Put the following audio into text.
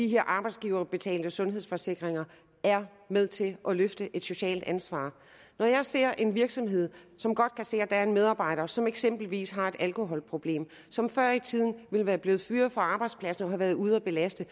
de arbejdsgiverbetalte sundhedsforsikringer er med til at løfte et socialt ansvar når jeg ser en virksomhed som godt kan se at der er en medarbejder som eksempelvis har et alkoholproblem og som før i tiden ville være blevet fyret fra arbejdspladsen og været ude at belaste